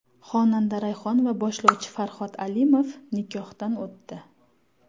Xonanda Rayhon va boshlovchi Farhod Alimov nikohdan o‘tdi .